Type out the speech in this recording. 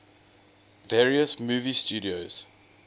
various movie studios